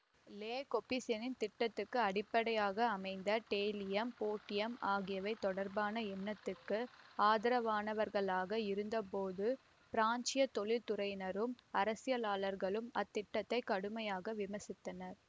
லெ கொபூசியேயின் திட்டத்துக்கு அடிப்படையாக அமைந்த டெயிலியம் ஃபோர்டியம் ஆகியவை தொடர்பான எண்ணத்துக்கு ஆதரவானவர்களாக இருந்தபோதும் பிரான்சியத் தொழில்துறையினரும் அரசியலாளர்களும் அத் திட்டத்தை கடுமையாக விமர்சித்தனர்